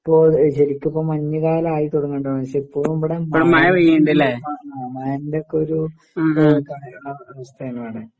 ഇപ്പോ ശരിക്കിപ്പം മഞ്ഞുകാലായിതൊടങ്ങണ്ട് പക്ഷേ ഇപ്പൊ ഇബടെ മഴ ആ മഴെൻ്റെക്കൊരു ഏഹ് കാലവസ്‌ഥയാണിവടെ.